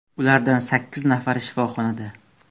Ulardan sakkiz nafari shifoxonada.